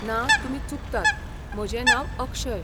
ना, तुमी चुकतात, म्हजें नांव अक्षय.